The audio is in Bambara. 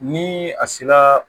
Ni a sera